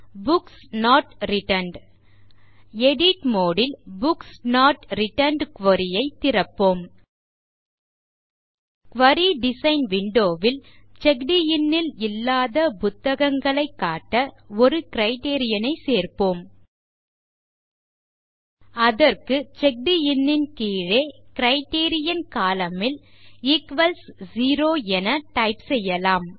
books not returned edit mode ல் books not returned query ஐ திறப்போம் குரி டிசைன் விண்டோ ல் செக்ட் இன் ல் இல்லாத புத்தகங்களை காட்ட ஒரு கிரைட்டீரியன் ஐ சேர்ப்போம் அதற்கு செக்கடின் ன் கீழே கிரைட்டீரியன் கோலம்ன் ல் ஈக்வல்ஸ் 0 என டைப் செய்யலாம்